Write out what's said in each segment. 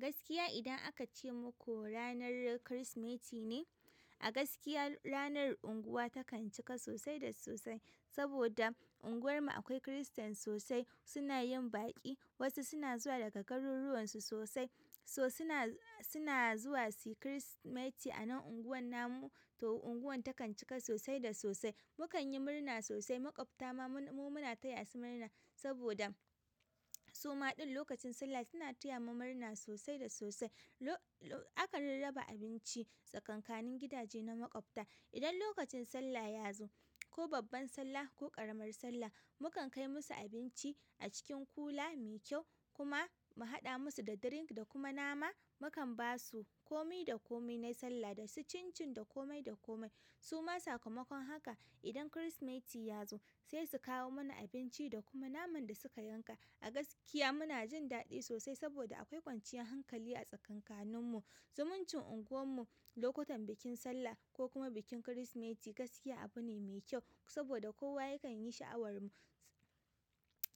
Gaskiya idan aka ce muku ranar Kirsimeti ne, a gaskiya ranar unguwa takan cika sosai da sosai. Saboda unguwarmu akwai Kiristan sosai, suna yin baƙi, wasu suna zuwa daga garuruwan su sosai. So suna, suna zuwa si Kirsimeti a nan unguwar namu, to unguwar takan cika sosai da sosai. Mukan yi murna sosai, maƙwabta ma mu, muna taya su murna saboda suma ɗin lokacin Sallah suna taya mu murna sosai da sosai. Lo, lo, akan rarraba abinci tsakankanin gidaje na maƙwabta. Idan lokacin Sallah ya zo ko babban Sallah ko ƙaramar Sallah, mukan kai musu abinci a cikin kula mai kyau kuma mu haɗa musu da drink da kuma nama. Mukan ba su kome da kome na Sallah da su chinchin da kome da kome. Suma sakamakon haka idan Kirsimeti ya zo sai su kawo mana abinci da kuma naman da suka yanka. A gaskiya muna jin daɗi sosai saboda akwai kwanciyar hankali a tsakankanin mu. Zumuncin unguwarmu lokutan bikin Sallah ko kuma bikin Kirsimeti gaskiya abu ne mai kyau saboda kowa yakan yi sha'awar mu.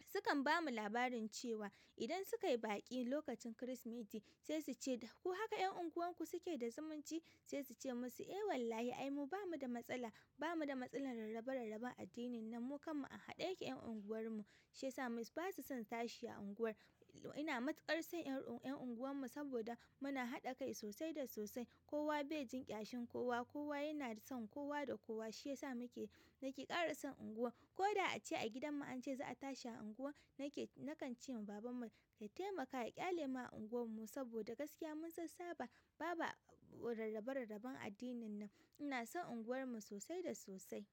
Sukan ba mu labarin cewa idan suka yi baƙi lokacin Kirsimeti sai su ce, ku haka ƴan unguwarku suke da zumunci sai su ce musu, "Eh wallahi ai mu ba mu da matsala. Ba mu da matsalar rarrabe rarraben addini nan mu kanmu a haɗe yake ƴan unguwarmu. Shi yasa musu ba su son tashi a unguwar. Ina matuƙar son ƴan, ƴan unguwarmu saboda muna haɗa kai sosai da sosai. Kowa bai jin ƙyashin kowa, kowa yana son kowa da kowa. Shi yasa muke, nake ƙara son unguwa. Ko da a ce a gidanmu an ce za a tashi unguwar nake, nakan ce ma babanmu ya taimaka ya ƙyale mu a unguwar mu saboda gaskiya mun sassaba. Ba ba rarrabe rarraben addinin nan." Ina son unguwar mu sosai da sosai.